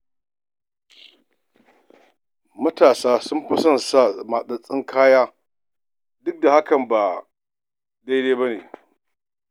Matasa sun fi son saka matsattsun kaya duk hakan ba daidai ba ne.